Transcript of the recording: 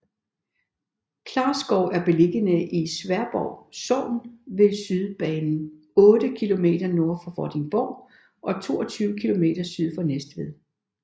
Klarskov er beliggende i Sværdborg Sogn ved Sydbanen otte kilometer nord for Vordingborg og 22 kilometer syd for Næstved